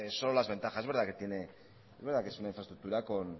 solo las ventajas es verdad que es una infraestructura con